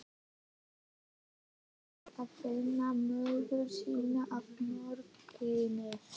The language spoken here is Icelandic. Ari fór að finna móður sína að morgni.